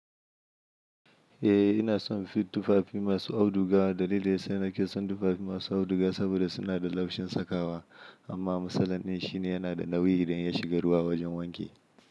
Eh ina son tufafi masu auduga. Dalili yasa na ke son tufafi masu auduga saboda suna da laushin sakawa amma misalan ɗin shine yana da nauyi idan ya shiga ruwa wajen wanki.